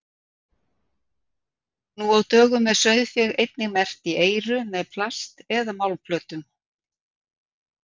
Nú á dögum er sauðfé einnig merkt í eyru með plast- eða málmplötum.